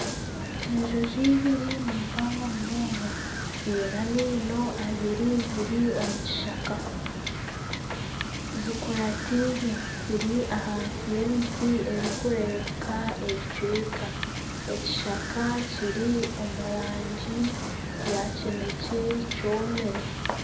Enjoki ibiri nimpango munonga ziine amaino abiri ziri omu kishaka zikurateine ziri ahansi y'emiti erikurebeka ebicweka. Ekishaka kiri omu rangi ya kinekye kyomire.